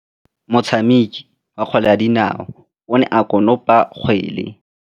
Motshameki wa kgwele ya dinaô o ne a konopa kgwele.